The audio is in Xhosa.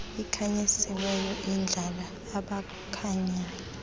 ikhanyisiweyo ihlala abakhanyayo